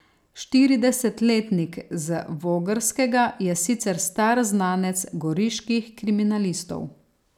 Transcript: Štiridesetletnik z Vogrskega je sicer star znanec goriških kriminalistov.